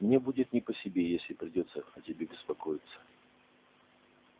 мне будет не по себе если придётся о тебе беспокоиться